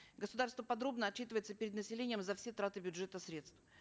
государство подробно отчитывается перед населением за все траты бюджетных средств